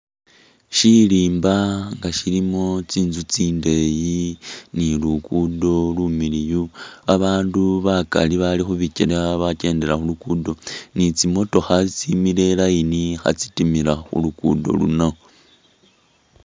Shirimba nga shilimo tsintsu tsindeyi ni lugudo lumiliyu babandu bakali babali khubikyele abakyendela khulugudo ni tsimotokha tsimile i line khatsitimila khulukudo luno.